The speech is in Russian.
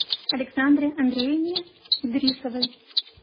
александре андреевне идрисовой